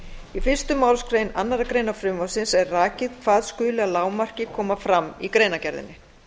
í fyrstu málsgrein annarrar greinar frumvarpsins er rakið hvað skuli að lágmarki koma fram í greinargerðinni